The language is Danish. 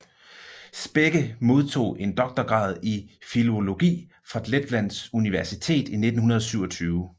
Spekke modtog en doktorgrad i filologi fra Letlands Universitet i 1927